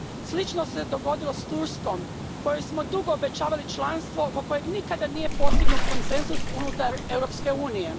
Slično se dogodilo s Turskom kojoj smo dugo obećavali članstvo oko kojeg nikad nije postignut konsenzus unutar Europske unije.